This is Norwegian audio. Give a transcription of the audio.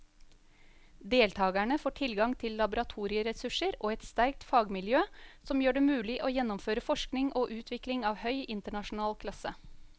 Deltakerne får tilgang til laboratorieressurser og et sterkt fagmiljø som gjør det mulig å gjennomføre forskning og utvikling av høy internasjonal klasse.